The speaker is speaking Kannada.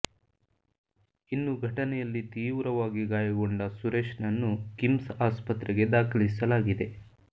ಇನ್ನು ಘಟನೆಯಲ್ಲಿ ತೀವ್ರವಾಗಿ ಗಾಯಗೊಂಡ ಸುರೇಶ್ ನನ್ನು ಕಿಮ್ಸ್ ಆಸ್ಪತ್ರೆಗೆ ದಾಖಲಿಸಲಾಗಿದೆ